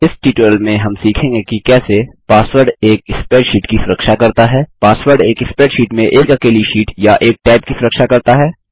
इस ट्यूटोरियल में हम सीखेंगे कि कैसे पासवर्ड एक स्प्रेडशीट की सुरक्षा करता है पासवर्ड एक स्प्रेडशीट में एक अकेली शीट या एक टैब की सुरक्षा करता है